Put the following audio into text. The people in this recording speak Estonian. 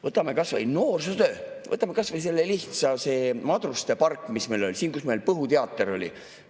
Võtame kas või noorsootöö, võtame kas või selle lihtsa madruste pargi, kus meil Põhuteater oli.